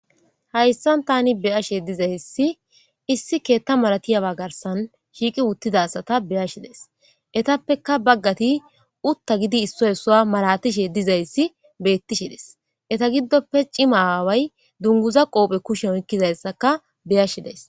Haysani Tani beyashe dizaysi issi keta malatiyaba garsani shiiqi utida asata beyashe daysi etappeka bagati utta giidi isuwa isuwa malatishe dizayasi beetishe des. Eta gidoppe cima aawayi dunguza qope kusheni oykidaysaka beyashe daysi.